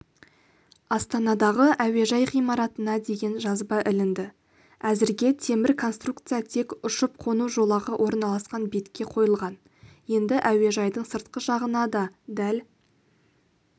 астанадағы әуежай ғимаратына деген жазба ілінді әзірге темір конструкция тек ұшып-қону жолағы орналасқан бетке қойылған енді әуежайдың сыртқы жағына да дәл